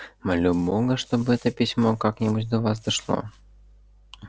молю бога чтоб это письмо как-нибудь до вас дошло